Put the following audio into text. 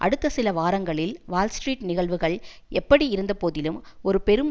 அடுத்த சில வாரங்களில் வால் ஸ்ட்ரீட் நிகழ்வுகள் எப்படி இருந்தபோதிலும் ஒரு பெரும்